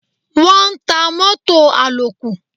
Wọ́n ń ta mótò àlòkù.